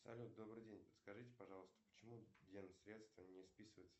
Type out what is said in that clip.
салют добрый день подскажите пожалуйста почему ден средства не списываются